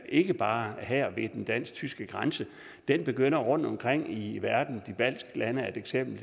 ikke bare her ved den dansk tyske grænse den begynder rundtomkring i verden og de baltiske lande er et eksempel